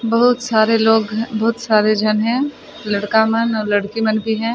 बहुत सारे लोग बहुत सारे झन है लड़का मन और लड़की मन भी है।